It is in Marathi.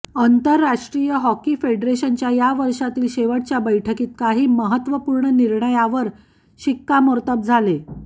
आंतरराष्ट्रीय हॉकी फेडरेशनच्या या वर्षातील शेवटच्या बैठकीत काही महत्त्वपूर्ण निर्णयावर शिक्कामोर्तब झाले